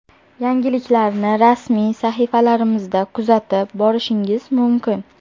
Yangiliklarni rasmiy sahifalarimizda kuzatib borishingiz mumkin.